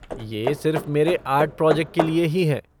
ये सिर्फ़ मेरे आर्ट प्रोजेक्ट के लिए ही है।